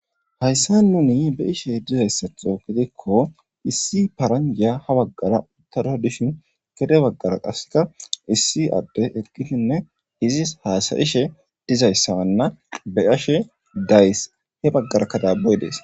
Hayssa nuni be ishe dizayssatho gitikko issi paranjya ha baggara uttada dishin gede baggara qasseka issi adde ekkishinne izis haasayishe dizayssawanna beyashe days he baggara kadaaboy dees.